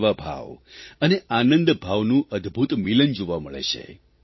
સેવાભાવ અને આનંદભાવનું અદભૂત મિલન જોવા મળે છે